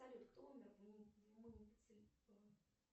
салют кто умер в